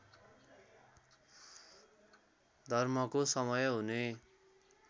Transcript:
धर्मको समय हुने